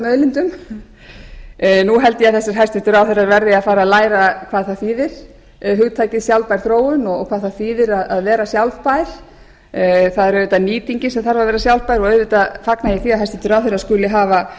auðlindum nú held ég að þessir hæstvirtir ráðherrar verði að fara að læra hvað það þýðir hugtakið sjálfbær þróun og hvað það þýðir að vera sjálfbær það er auðvitað nýtingin sem þarf að vera sjálfbær og auðvitað fagna ég því að hæstvirtur ráðherra skuli hafa